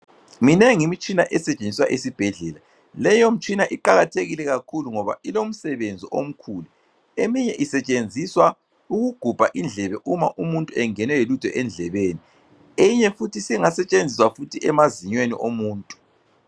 Minengi imitshina esetshenziswa esibhedlela. Leyo mtshina iqakathekile kakhulu ngoba ilomsebenzi omkhulu eminye isetshenziswa ukugubha indlebe uma umuntu engenwe yilutho endlebeni, eyinye futhi singasetshenziswa futhi emazinyweni omuntu.